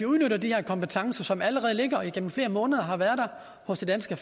udnytter de her kompetencer som allerede ligger og som igennem flere måneder har været hos det danske